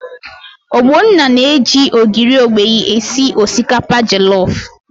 Ogbonna na-eji ogiri okpei esi osikapa jọlọf.